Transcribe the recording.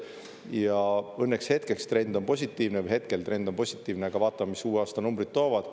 Ja õnneks hetkeks trend on positiivne või hetkel trend on positiivne, aga vaatame, mis uue aasta numbrid toovad.